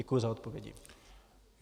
Děkuji za odpovědi.